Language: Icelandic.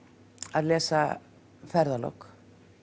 að lesa ferðalok